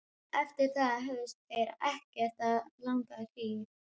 Eftir það höfðust þeir ekkert að langa hríð.